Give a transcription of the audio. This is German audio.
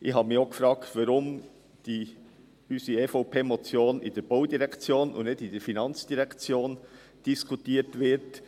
Ich habe mich gefragt, weshalb unsere EVP-Motion in der Baudirektion und nicht in der FIN diskutiert wird.